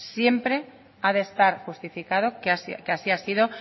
siempre ha de estar justificado que así ha sido